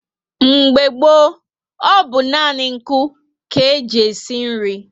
Mgbe gboo bú nani nku ka e ji esi nri